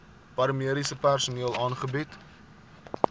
paramediese personeel aangebied